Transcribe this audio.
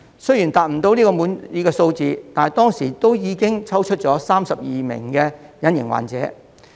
雖然無法達到滿意的數字，但當時亦抽出了32名隱形患者。